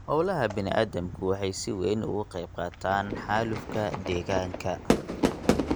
Hawlaha bani'aadamku waxay si weyn uga qaybqaataan xaalufka deegaanka.